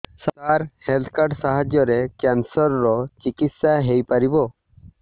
ସାର health card ସାହାଯ୍ୟରେ cancer ର ଚିକିତ୍ସା ହେଇପାରିବ